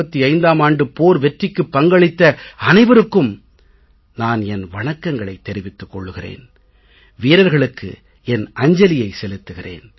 1965ம் ஆண்டுப் போர் வெற்றிக்குப் பங்களித்த அனைவருக்கும் நான் என் வணக்கங்களைத் தெரிவித்துக் கொள்கிறேன் வீரர்களுக்கு என் அஞ்சலியை செலுத்துகிறேன்